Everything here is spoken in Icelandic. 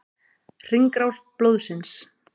Hringrás blóðsins.